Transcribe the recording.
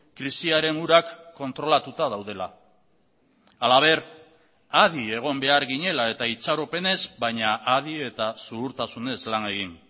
krisiaren urak kontrolatuta daudela halaber adi egon behar ginela eta itxaropenez baina adi eta zuhurtasunez lan egin